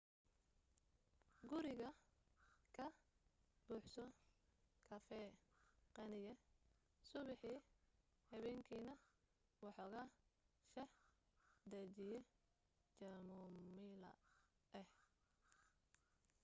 guriga ka buuxso kafee qaniya subaxii habeenkiina waxooga shaah dajiye jamomayla ah